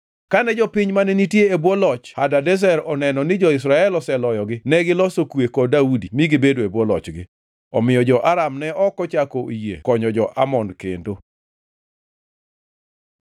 Kane jopiny mane nitie e bwo loch Hadadezer oneno ni jo-Israel oseloyogi negiloso kwe kod Daudi mi gibedo e bwo lochgi. Omiyo jo-Aram ne ok ochako oyie konyo jo-Amon kendo.